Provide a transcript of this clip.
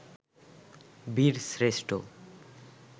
বীরশ্রেষ্ঠ